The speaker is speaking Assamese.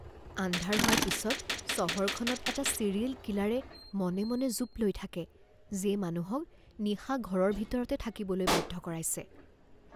আন্ধাৰ হোৱাৰ পিছত চহৰখনত এটা ছিৰিয়েল কিলাৰে মনে মনে জোপ লৈ থাকে যিয়ে মানুহক নিশা ঘৰৰ ভিতৰতে থাকিবলৈ বাধ্য কৰাইছে